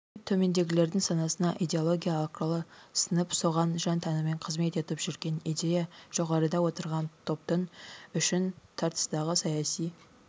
деп төмендегілердің санасына идеология арқылы сіңіп соған жан-тәнімен қызмет етіп жүрген идея жоғарыда отырған топтың үшін тартыстағы саяси